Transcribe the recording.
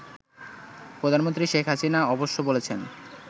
প্রধানমন্ত্রী শেখ হাসিনা অবশ্য বলেছেন